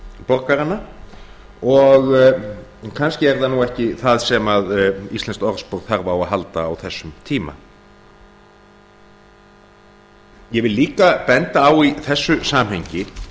borgarana og kannski er það nú ekki það sem íslenskt orðspor þarf á að halda á þessum tíma ég vil líka benda á í þessu samhengi